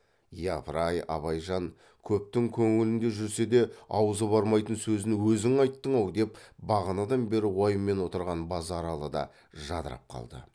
япырай абайжан көптің көңілінде жүрсе де аузы бармайтын сөзін өзің айттың ау деп бағанадан бері уайыммен отырған базаралы да жадырап қалды